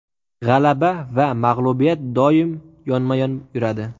G‘alaba va mag‘lubiyat doim yonma-yon yuradi.